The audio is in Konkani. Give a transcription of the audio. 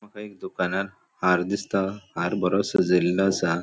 मका एक दुकानार हार दिसता हार बरो सजेल्लो आसा.